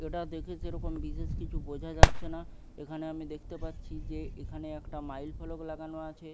এটা দেখে সেরকম বিশেষ কিছু বোঝা যাচ্ছে না এখানে আমি দেখতে পাচ্ছি যে এখানে একটা মাইল ফলক লাগানো আছে ।